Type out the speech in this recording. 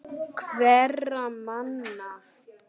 Hverra manna?